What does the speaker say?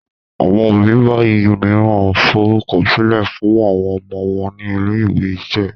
àwọn òbí bayii míràn forukọsilẹ fún àwọn ọmọ wón ní ilé-ìwé iṣẹ̀